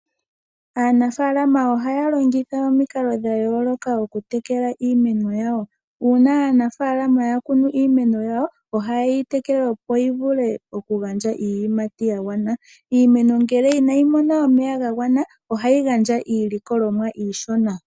Aanafaalama ohaya longitha omikalo dha yooloka oku tekela iimeno yawo. Uuna aanafaalama ya kunu iimeno yawo ohaye yi tekele opo yi vule oku gandja iiyimati gagwana. Iimeno ngele inayi mona omeya gagwana ohayi gandja iilikolomwa iishona.